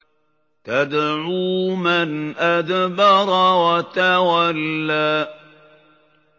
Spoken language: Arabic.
تَدْعُو مَنْ أَدْبَرَ وَتَوَلَّىٰ